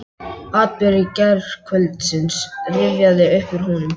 Atburðir gærkvöldsins rifjast upp fyrir honum.